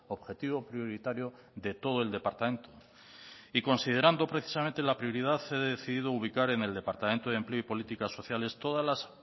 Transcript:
objetivo prioritario de todo el departamento y considerando precisamente la prioridad he decidido ubicar en el departamento de empleo y políticas sociales todas las